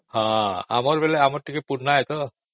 ଆମର ବୋଲେ ଆମର ଟିକେ ପୁରୁଣା ତ